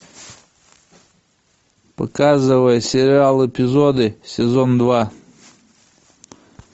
показывай сериал эпизоды сезон два